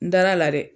N dara a la dɛ